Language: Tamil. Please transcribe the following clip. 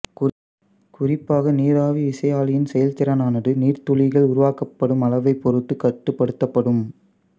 குறிப்பாக நீராவி விசையாழியின் செயல்திறனானது நீர்த்துளிகள் உருவாக்கப்படும் அளவைப் பொறுத்து கட்டுப்படுத்தப்படும்